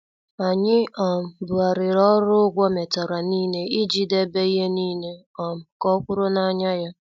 Anyị um bughariri ọrụ ụgwọ metara nile iji debe ihe nile um ka ọ kwuru n' anya ya.